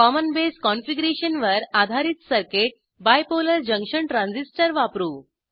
common base कॉनफिगरेशनवर आधारित circuit bipolar junction transistor वापरू